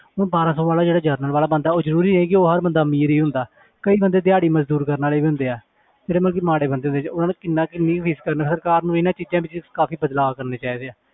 ਹੁਣ ਬਾਰਾਂ ਸੌ ਵਾਲਾ ਜਿਹੜਾ general ਵਾਲਾ ਬੰਦਾ ਉਹ ਜ਼ਰੂਰੀ ਹੈ ਕਿ ਉਹ ਹਰ ਬੰਦਾ ਅਮੀਰ ਹੀ ਹੁੰਦਾ ਕਈ ਬੰਦੇ ਦਿਹਾੜੀ ਮਜ਼ਦੂਰੀ ਕਰਨ ਵਾਲੇ ਵੀ ਹੁੰਦੇ ਹੈ ਜਿਹੜੇ ਮਤਲਬ ਕਿ ਮਾੜੇ ਬੰਦੇ ਹੁੰਦੇ ਉਹਨਾਂ ਨੂੰ ਕਿੰਨਾ ਕਿੰਨੀ fees ਭਰਨਾ ਸਰਕਾਰ ਨੂੰ ਇਹਨਾਂ ਚੀਜ਼ਾਂ ਵਿੱਚ ਕਾਫ਼ੀ ਬਦਲਾਵ ਕਰਨੇ ਚਾਹੀਦੇ ਹੈ